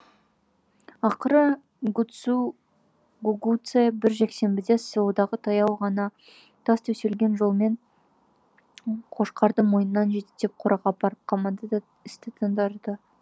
ақыры гугуцэ бір жексенбіде селодағы таяу ғана тас төселген жолмен қошқарды мойнынан жетектеп қораға апарып қамады да істі тындырды